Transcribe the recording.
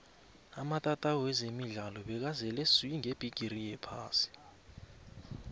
amatatawu wezemidlalo bekazele swi ngebhigiri yephasi ka